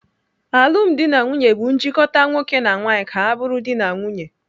Alụmdi na nwaanyị bụ njikota nwoke na nwaanyị ka ha bụrụ dị na nwunye.